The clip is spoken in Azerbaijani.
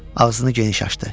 Ağzını geniş açdı.